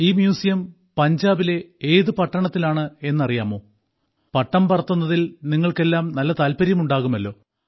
ഈ മ്യൂസിയം പഞ്ചാബിലെ ഏതു പട്ടണത്തിലാണെന്നറിയാമോ പട്ടം പറത്തുന്നതിൽ നിങ്ങൾക്കെല്ലാം നല്ല താല്പര്യം ഉണ്ടാകുമല്ലോ